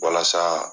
Walasa